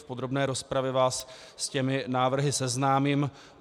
V podrobné rozpravě vás s těmi návrhy seznámím.